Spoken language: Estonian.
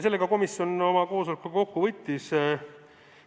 Sellega komisjon oma koosoleku kokku võttiski.